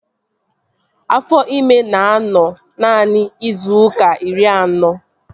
Afọ ịma na-anọ naanị izu ụka iri anọ